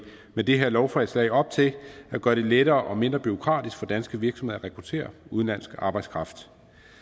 med det her lovforslag op til at gøre det lettere og mindre bureaukratisk for danske virksomheder at rekruttere udenlandsk arbejdskraft